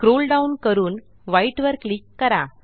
scroll down करून white वर click करा